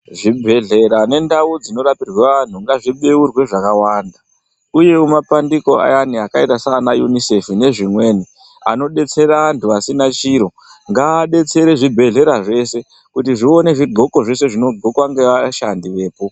Zvibhehlera nendau dzinorapireq anhu ngazvibeurwe zvakawanda uyewomapandiko ayaani akaita saana UNICEF nezvimweni anobetsera anhu asina chiro ngaadetserewo zvibhehlera zvese kuti aone zvibhuko zvinobhukwa neashandi vepo